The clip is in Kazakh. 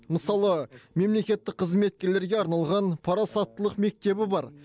мысалы мемлекеттік қызметкерлерге арналған парасаттылық мектебі бар